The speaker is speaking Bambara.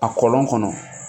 A kɔlɔn kɔnɔ